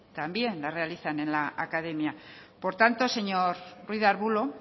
también las realizan en la academia por tanto señor ruiz de arbulo